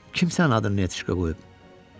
Kimsə adını Nətişka qoyub?